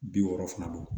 Bi wɔɔrɔ fana don